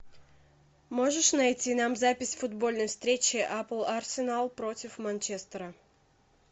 можешь найти нам запись футбольной встречи апл арсенал против манчестера